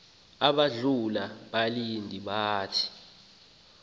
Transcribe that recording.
balandula abalindi bathi